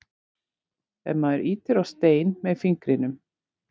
ef maður ýtir á stein með fingrinum